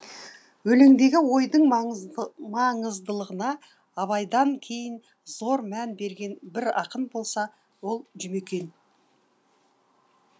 өлеңдегі ойдың маңыздылығына абайдан кейін зор мән берген бір ақын болса ол жұмекен